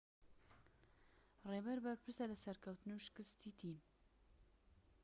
ڕێبەر بەرپرسە لە سەرکەوتن و شکستی تیم